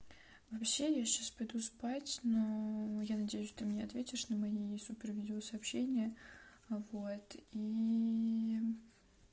вообще я сейчас пойду спать но я надеюсь ты мне ответишь на мои супер видео сообщения вот и